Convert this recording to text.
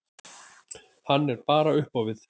Hann er bara upp á við.